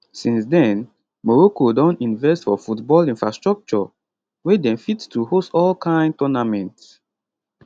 since den morocco don invest for football infrastructure wey dem fit to host all kind tournaments